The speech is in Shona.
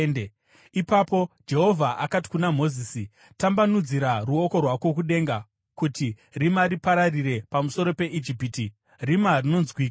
Ipapo Jehovha akati kuna Mozisi, “Tambanudzira ruoko rwako kudenga kuti rima ripararire pamusoro peIjipiti, rima rinonzwikwa.”